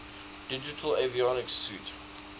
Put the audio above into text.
digital avionics suite